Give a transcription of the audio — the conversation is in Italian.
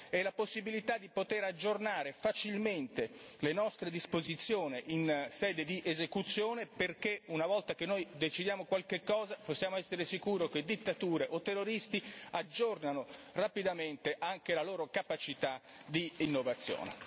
e infine la possibilità di aggiornare facilmente le nostre disposizioni in sede di esecuzione, perché una volta che noi decidiamo qualche cosa possiamo essere sicuri che dittature o terroristi aggiornano rapidamente anche la loro capacità d'innovazione.